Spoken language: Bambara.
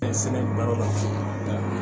Fɛn baaraw la